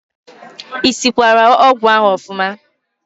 I sikwara ọgwụ ahụ ọfụma?